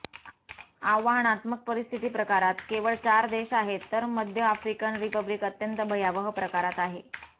आव्हानात्मक परिस्थिती प्रकारात केवळ चार देश आहेत तर मध्य आफ्रिकन रिपब्लिक अत्यंत भयावह प्रकारात आहे